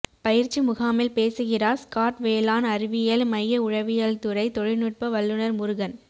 பயிற்சி முகாமில் பேசுகிறாா் ஸ்காட் வேளாண் அறிவியல் மைய உழவியல்துறை தொழில்நுட்ப வல்லுநா் முருகன்